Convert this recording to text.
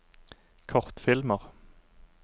kortfilmer